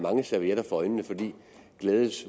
jonas